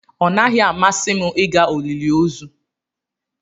Ọ naghị amasị m ịga olili ozu.